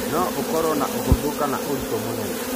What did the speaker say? No ũkoro nĩ ũhũthũ kana ũritũ mũnene.